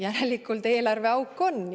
Järelikult eelarveauk on!